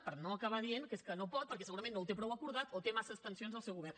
per no acabar dient que és que no pot perquè segurament no ho té prou acordat o té massa tensions al seu govern